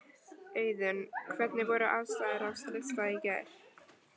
Auðunn, hvernig voru aðstæður á slysstað í gær?